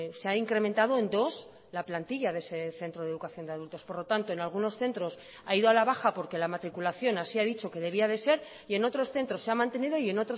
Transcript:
se ha incrementado en dos la plantilla de ese centro de educación de adultos por lo tanto en algunos centros ha ido a la baja porque la matriculación así ha dicho que debía de ser y en otros centros se ha mantenido y en